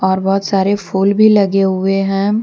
और बहोत सारे फूल भी लगे हुए हैं।